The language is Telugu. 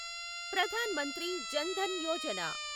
ప్రధాన్ మంత్రి జన్ ధన్ యోజన